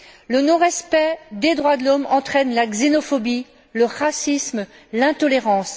Le non respect des droits de l'homme entraîne la xénophobie, le racisme, l'intolérance.